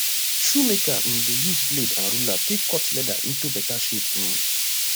shoemaker um dey use blade and ruler take cut leather into beta shape um